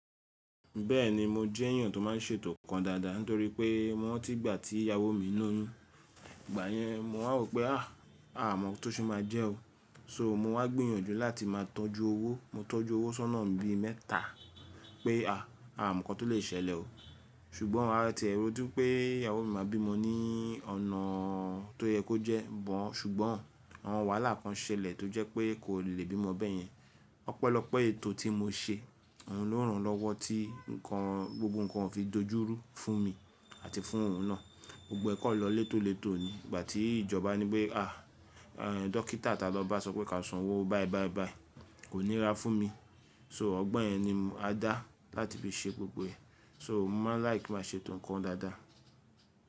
Bẹ́ẹ̀ni mo jẹ́ èèyàn tó má ń ṣètò nǹkan dáadáa nítorí pé mo rántí ìgbà tí ìyàwó mi ń loyun, ìgbà yẹn mo wá wò pé à, a mọ̀ ọ́ tó ṣe máa jẹ́ o. So mo wá gbìyànjú láti má a tọ́jú owó. Mo tọ́jú owó sọ́nà bi mẹ́ta pé à, a mọ̀ ǹkan tó lè ṣẹlẹ̀ o. Ṣùgbọ́n a tẹ́ẹrẹ dú pé ìyàwó mi máa bí mọ ní ọ̀nà tó yẹ kó jẹ́, bọ̀n ṣùgbọ́n àwọn wàhálà kan ṣẹlẹ̀ tó jẹ́ pé kò le bí mọ bẹ́yẹn. Ọ̀pẹlọpe ètò tí mo ṣe, òun ló ràn án lọ́wọ́ tí ǹkan gbogbo ǹkan ò fi dojúrú fún mi àti fún òun náà. Gbogbo ẹ̀ kàn lọ létólètó ni ìgbà tí ìjọba ní wí pé à, ẹ́ dọ́kítà ta lọ bá sọ pé ka san owó báẹ́ báẹ́ báẹ́ kò ní rà fún mi. So ọgbọ̀n yẹn ni a dá láti fi ṣe gbogbo ẹ̀. So mo máa láì kí má ṣètò nǹkan dáadáa.